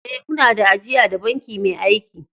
Eh, una da ajia da banki mai aiki.